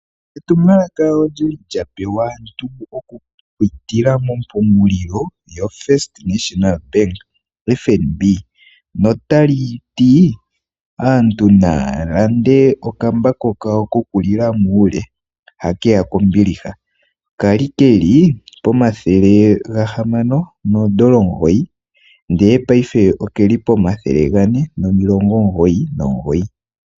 Etumwalaka olyili lyapewa aantu okupitila mompungulilo yoFirst National Bank (FNB). Notali ti aantu naya lande okambako kawo kokulila muule ha keya kombiliha kali keli pomathele gahamano noodola omugoyi, ndele paife okeli pomathele gane nomilongo omugoyi nomugoyi.